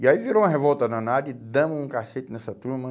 E aí virou uma revolta danada e damos um cacete nessa turma.